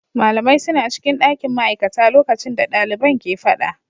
Malamai suna cikin dakin ma'aikata lokacin da daliban ke fada.